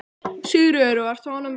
Sigríður: Og ert þú ánægð með daginn?